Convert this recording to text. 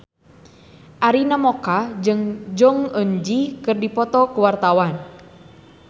Arina Mocca jeung Jong Eun Ji keur dipoto ku wartawan